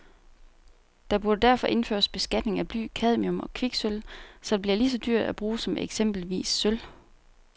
Der burde derfor indføres beskatning af bly, cadmium og kviksølv, så det bliver lige så dyrt at bruge som eksempelvis sølv.